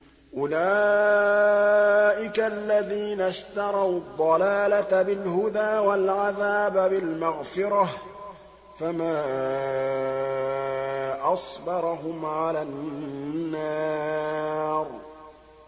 أُولَٰئِكَ الَّذِينَ اشْتَرَوُا الضَّلَالَةَ بِالْهُدَىٰ وَالْعَذَابَ بِالْمَغْفِرَةِ ۚ فَمَا أَصْبَرَهُمْ عَلَى النَّارِ